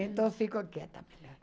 Então fico quieta.